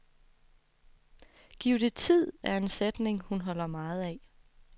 Giv det tid, er en sætning, hun holder meget af.